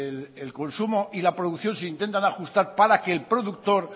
el consumo y la producción se intentan ajustar para que el productor